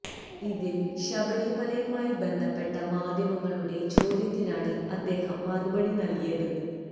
ഇതിൽ ശബരിമലയുമായി ബന്ധപ്പെട്ട മാധ്യമങ്ങളുടെ ചോദ്യത്തിനാണ് അദ്ദേഹം മറുപടി നൽകിയത്